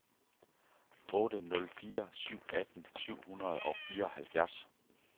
otte nul fire syv atten syv hundrede og fireoghalvfjerds